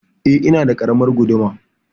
Eh, ina da ƙaramar guduma.